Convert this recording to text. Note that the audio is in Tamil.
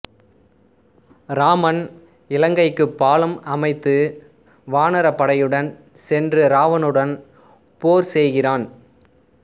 இராமன் இலங்கைக்குப் பாலம் அமைத்து வானரப் படையுடன் சென்று இராவணனுடன் போர் செய்கிறான்